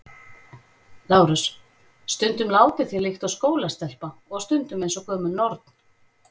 LÁRUS: Stundum látið þér líkt og skólastelpa og stundum eins og gömul norn.